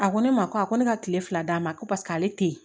A ko ne ma ko a ko ne ka kile fila d'a ma ko paseke ale te yen